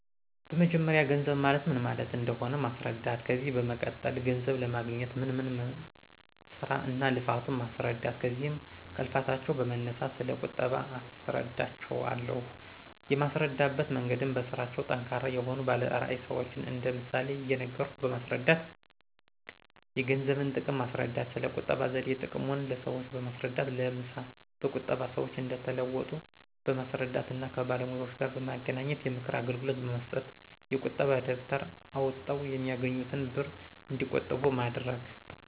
በመጀመርያ ገንዘብ ማለት ምን ማለት እንደሆነ ማስረዳት። ከዚያ በመቀጠል ገንዘብ ለማግኞት ምን ምን ስራ እና ልፋቱ ማስረዳት ከዚያም ከልፋታቸው በመነሳት ስለ ቁጠባ አስረዳቸው አለሁ። የማስረዳበት መንገድም በስራቸው ጠንካራ የሆኑ ባለ ራዕይ ሰዎችን እንደ ምሳሌ እየነገርኩ በማስረዳት። የገንዘብን ጥቅም ማስረዳት። ስለ ቁጠባ ዘዴ ጥቅሙን ለሰዎች በማስረዳት ለምሳ በቁጠባ ሰዎች እንደተለወጡ በማስረዳት እና ከባለሙያዎጋር በማገናኝት የምክር አገልግሎት በማሰጠት። የቁጣ ደብተር አውጠው የሚያገኙትን ብር እንዲቆጥቡ ማድረግ